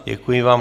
Děkuji vám.